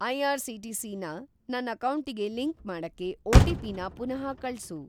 IRCTC. ನ ನನ್‌ ಅಕೌಂಟಿಗೆ ಲಿಂಕ್‌ ಮಾಡಕ್ಕೆ ಒ.ಟಿ.ಪಿ.ನ ಪುನಃ ಕಳ್ಸು.